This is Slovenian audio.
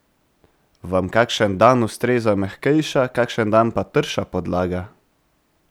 Vam kakšen dan ustreza mehkejša, kakšen dan pa trša podlaga?